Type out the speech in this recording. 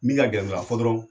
Min ka gɛlɛn dɔrɔn a fɔ dɔrɔn